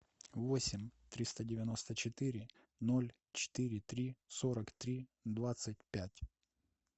восемь триста девяносто четыре ноль четыре три сорок три двадцать пять